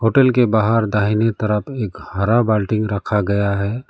Hotel के बाहर दाहिनी तरफ एक हरा बाल्टी रखा गया है।